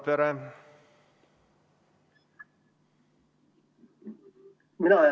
Valdo Randpere.